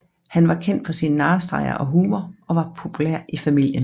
Han var kendt for sin narrestreger og humor og var populær i familien